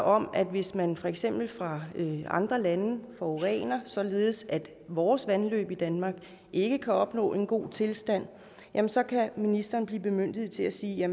om at hvis man for eksempel fra andre lande forurener således at vores vandløb i danmark ikke kan opnå en god tilstand jamen så kan ministeren blive bemyndiget til at sige at